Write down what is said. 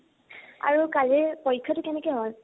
আৰু কালিৰ পৰীক্ষাটো কেনেকে হল?